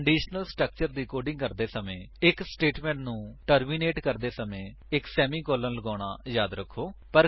conditional structure ਦੀ coding ਕਰਦੇ ਸਮੇਂ ਇੱਕ ਸਟੇਟਮੇਂਟ ਨੂੰ ਟਰਮਿਨੇਟ ਕਰਦੇ ਸਮੇਂ ਇੱਕ ਸੇਮੀਕੋਲਨ ਲਗਾਉਣਾ ਯਾਦ ਰੱਖੋ